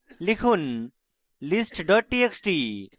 লিখুন list txt txt